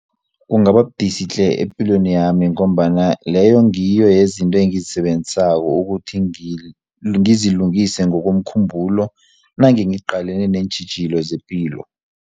Kungababudisi tle epilweni yami ngombana leyo ngiyo yezinto engizisebenzisako ukuthi ngizilungise ngokomkhumbulo nangiqalene neentjhijilo zepilo.